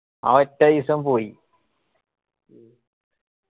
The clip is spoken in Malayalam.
ആ ഒറ്റ ഈസം പോയി.